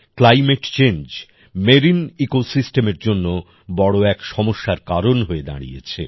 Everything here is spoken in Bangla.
ক্লাইমেট চেঞ্জ মেরিন ইকোসিস্টেমের জন্য বড় এক সমস্যার কারণ হয়ে দাঁড়িয়েছে